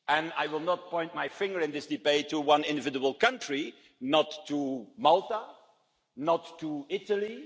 I will not point my finger in this debate at one individual country, not at Malta, not at Italy.